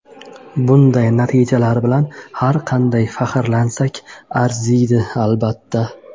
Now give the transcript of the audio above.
Bunday natijalar bilan har qancha faxrlansak arziydi, albatta.